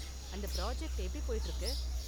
அந்த பிராஜெக்ட் எப்படி போயிட்டு இருக்கு?